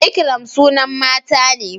ikram sunan mata ne